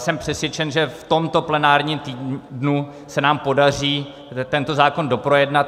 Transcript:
Jsem přesvědčen, že v tomto plenárním týdnu se nám podaří tento zákon doprojednat.